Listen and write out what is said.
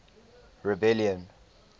rebellion